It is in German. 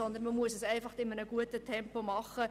Vielmehr muss man in einem guten Tempo vorwärtsgehen.